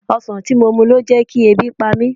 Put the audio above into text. Ọsan tí mo mu ló ń jẹkí ebi pa mí.